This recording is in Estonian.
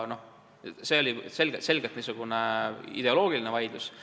See oli selgelt niisugune ideoloogiline vaidlus.